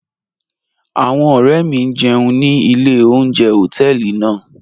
Awọn ọ̀rẹ̀ mi n jẹun ni ilẹ̀ ọ̀unjẹ̀ họtẹẹlì naa.